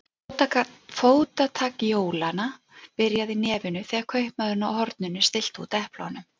Fótatak jólanna byrjaði í nefinu þegar kaupmaðurinn á horninu stillti út eplunum.